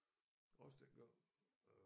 Også den gang øh